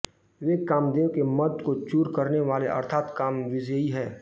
वे कामदेव के मद को चूर करने वाले अर्थात कामविजयी हैं